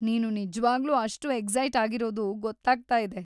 ನೀನು ನಿಜ್ವಾಗ್ಲೂ ಅಷ್ಟು ಎಕ್ಸೈಟ್‌ ಆಗಿರೋದು ಗೊತ್ತಾಗ್ತಾ ಇದೆ.